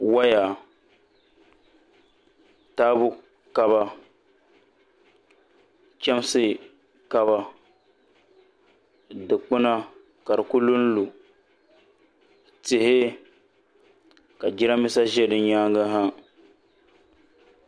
Woya taabo kaba chɛmsi kaba dikpuna ka di ku lunlu tihi ka jiranbiisa ʒɛ di nyaangi ha